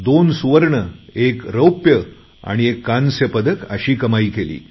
दोन सुवर्ण एक रौप्य आणि एक कांस्य पदक अशी कमाई केली